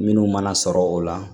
Minnu mana sɔrɔ o la